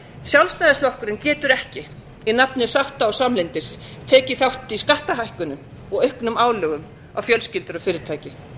sjálfstæðisflokkurinn getur ekki í nafni sátta og samlyndis tekið þátt í skattahækkunum og auknum álögum á fjölskyldur og fyrirtæki